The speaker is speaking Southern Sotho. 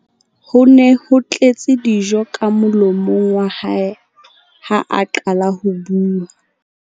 Ho ne ho tletse dijo ka molomong wa hae ha a qala ho bua.